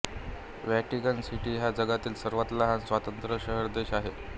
Vatican city हा जगातील सर्वांत लहान स्वतंत्र शहरदेश आहे